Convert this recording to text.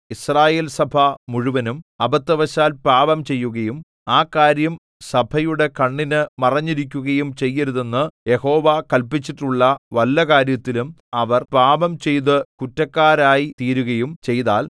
യിസ്രായേൽസഭ മുഴുവനും അബദ്ധവശാൽ പാപംചെയ്യുകയും ആ കാര്യം സഭയുടെ കണ്ണിന് മറഞ്ഞിരിക്കുകയും ചെയ്യരുതെന്ന് യഹോവ കല്പിച്ചിട്ടുള്ള വല്ല കാര്യത്തിലും അവർ പാപംചെയ്തു കുറ്റക്കാരായി തീരുകയും ചെയ്താൽ